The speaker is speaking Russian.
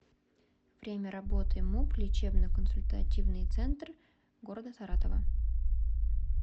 время работы муп лечебно консультативный центр г саратова